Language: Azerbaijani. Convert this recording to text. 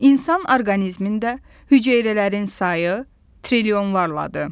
İnsan orqanizmində hüceyrələrin sayı trilyonlarladır.